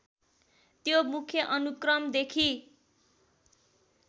त्यो मुख्य अनुक्रमदेखि